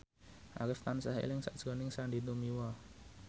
Arif tansah eling sakjroning Sandy Tumiwa